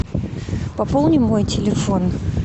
пополни мой телефон